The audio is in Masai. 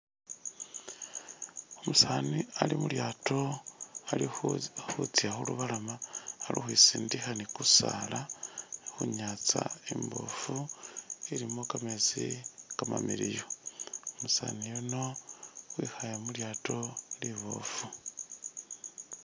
Umusaani ali khulyato ali khutsya khu lubalama ali ukhwisindikha ni ku saala khu nyatsa imbofu ilimo kametsi kamamiliyu, umusani yuno wikhaye mu lyato libofu.